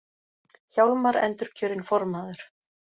Hjálmar endurkjörinn formaður